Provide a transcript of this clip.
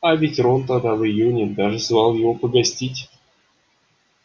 а ведь рон тогда в июне даже звал его погостить